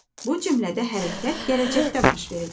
Bu cümlədə hərəkət gələcəkdə baş verəcək.